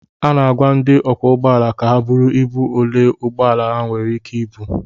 A na-agwa ndị ọkwọ ụgbọala ka ha buru ibu ole ụgbọ ala ha nwere ike ibu